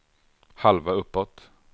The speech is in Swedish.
halva uppåt